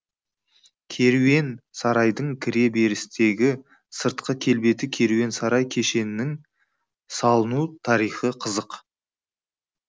кереуен сарайдың кіре берістегі сыртқы келбеті керуен сарай кешенінің салыну тарихы қызық